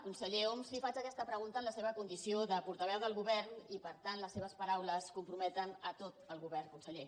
conseller homs li faig aquesta pregunta en la seva condició de portaveu del govern i per tant les seves paraules comprometen tot el govern conseller